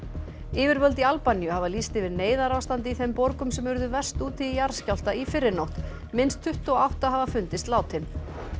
yfirvöld í Albaníu hafa lýst yfir neyðarástandi í þeim borgum sem urðu verst úti í jarðskjálfta í fyrrinótt minnst tuttugu og átta hafa fundist látin